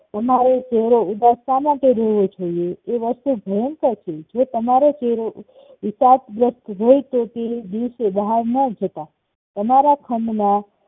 તમારો ચેહરો ઉદાસ શા માટે રેહવો જોયે? એ વસ્તુ ભંયકર છે જો તમારો ચેહરો ઉપદગ્રસ્ત હોઈ તો તે દિવસે બહાર ના જતા તમારા ખંડમાં